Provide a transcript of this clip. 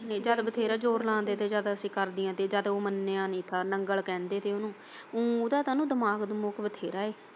ਨੀ ਚੱਲ ਬਥੇਰਾ ਜ਼ੋਰ ਲਾਉਣ ਦੇ ਤੇ ਜਦ ਅਸੀਂ ਕਰਦੀਆਂ ਜਦ ਉਹ ਮੰਨਿਆ ਨੀ ਨੰਗਲ ਕਹਿੰਦੇ ਸੀ ਉਨੂੰ ਉਦਾ ਤਾਂ ਨਾ ਦਿਮਾਗ ਦਮੁੰਗ ਬਥੇਰਾ ਐ।